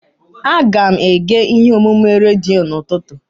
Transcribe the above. Aga m ege ihe omume redio n'ụtụtụ.